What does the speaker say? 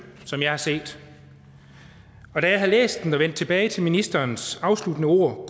som jeg har set og da jeg havde læst den og vendte tilbage til ministerens afsluttende ord